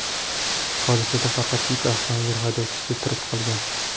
Hodisada faqat yuk avtomobili haydovchisi tirik qolgan.